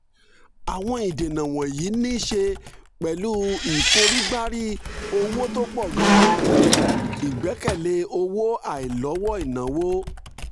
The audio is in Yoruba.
àwọn ìdènà wọ̀nyí ní í ṣe pẹ̀lú ìforígbárí owó tó pọ̀ gan-an ìgbẹ́kẹ̀lé owó àìlọ́wọ́ ìnáwó